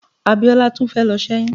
Abiola tún fẹ́ lọ ṣẹ́yún.